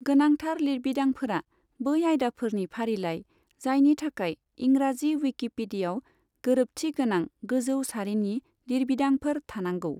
गोनांथार लिरबिदांफोरा बै आयदाफोरनि फारिलाइ, जायनि थाखाय इंराजि विकिपीडियाव गोरोबथि गोनां गोजौ सारिनि लिरबिदांफोर थानांगौ।